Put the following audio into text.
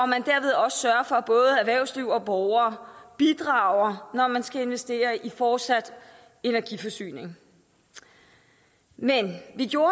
man derved også sørger for at både erhvervsliv og borgere bidrager når man skal investere i fortsat energiforsyning men vi gjorde